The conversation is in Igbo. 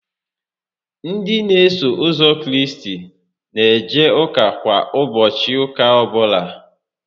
Ndị n'eso ụzọ Kraịst n'eje ụka kwa ụbọchị ụka ọbụla (Sọndee ọbụla)